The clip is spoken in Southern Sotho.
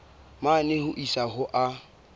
mane ho isa ho a